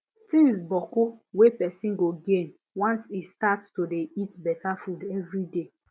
thing boku wey person go gain once e start to dey eat better food every day